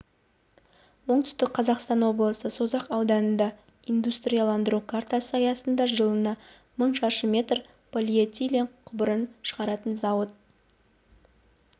оңтүстік қазақстан облысы созақ ауданында индустрияландыру картасы аясында жылына мың шаршы метр полиэтилен құбырын шығаратын зауыт